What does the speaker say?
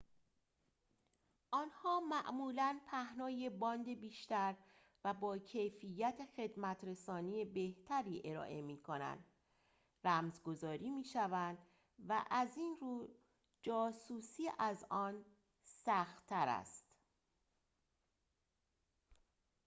آنها معمولاً پهنای باند بیشتر و با کیفیت خدمت‌رسانی بهتری ارائه می‌کنند رمز گذاری می‌شوند و از این رو جاسوسی از آن سخت‌تر است